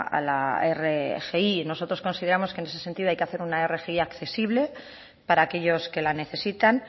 a la rgi nosotros consideramos que ese sentido hay que hacer una rgi accesible para aquellos que la necesitan